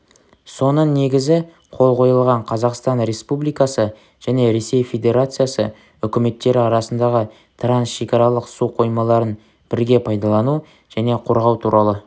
соның негізі қол қойылған қазақстан республикасы және ресей федерациясы үкіметтері арасындағы трансшекаралық су қоймаларын бірге пайдалану және қорғау туралы